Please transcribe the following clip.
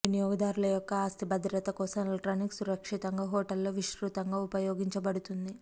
వినియోగదారుల యొక్క ఆస్తి భద్రత కోసం ఎలక్ట్రానిక్ సురక్షితంగా హోటళ్ళలో విస్తృతంగా ఉపయోగించబడుతుంది